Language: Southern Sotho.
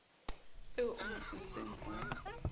eo o mo sentseng o